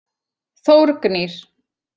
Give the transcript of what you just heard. Þórgnýr